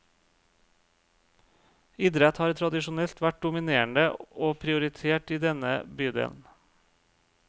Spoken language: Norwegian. Idrett har tradisjonelt vært dominerende og prioritert i denne bydelen.